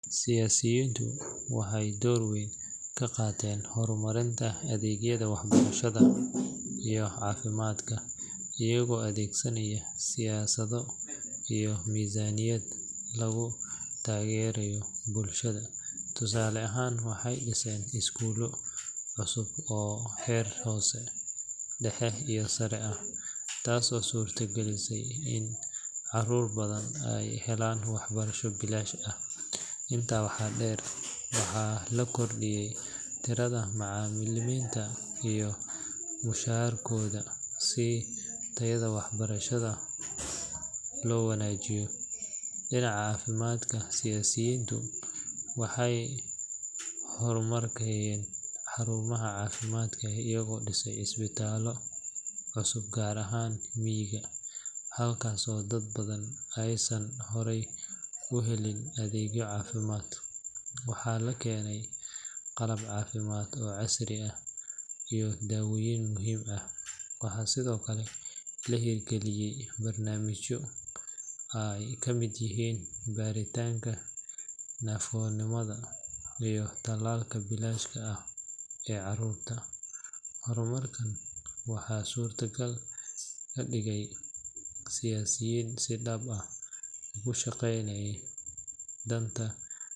Siyaasiyiintu waxay door weyn ka qaateen horumarinta adeegyada waxbarashada iyo caafimaadka iyagoo adeegsanaya siyaasado iyo miisaaniyad lagu taageerayo bulshada. Tusaale ahaan, waxay dhiseen iskuullo cusub oo heer hoose, dhexe iyo sare ah, taasoo suurtagelisay in caruur badan ay helaan waxbarasho bilaash ah. Intaa waxaa dheer, waxaa la kordhiyay tirada macalimiinta iyo mushaarkooda si tayada waxbarashada loo wanaajiyo. Dhinaca caafimaadka, siyaasiyiintu waxay horumariyeen xarumaha caafimaadka iyagoo dhisay isbitaallo cusub gaar ahaan miyiga, halkaas oo dad badan aysan horey u helin adeegyo caafimaad. Waxaa la keenay qalab caafimaad oo casri ah iyo dawooyin muhiim ah. Waxaa sidoo kale la hirgaliyay barnaamijyo ay ka mid yihiin baaritaanka naafonimada iyo tallaalka bilaashka ah ee caruurta. Horumarkan waxaa suuragal ka dhigay siyaasiyiin si dhab ah ugu shaqeynaya danta.